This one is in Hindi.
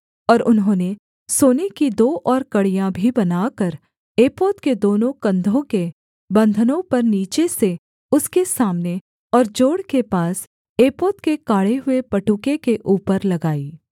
और उन्होंने सोने की दो और कड़ियाँ भी बनाकर एपोद के दोनों कंधों के बन्धनों पर नीचे से उसके सामने और जोड़ के पास एपोद के काढ़े हुए पटुके के ऊपर लगाई